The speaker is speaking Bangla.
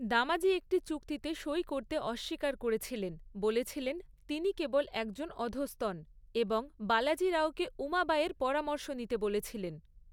দামাজী একটি চুক্তিতে সই করতে অস্বীকার করেছিলেন, বলেছিলেন, তিনি কেবল একজন অধস্তন, এবং বালাজী রাওকে উমাবাঈয়ের পরামর্শ নিতে বলেছিলেন।